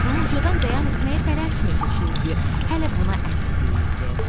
Amma bunu ucadan bəyan etməyə tələsmirdi, çünki hələ buna əmin deyildi.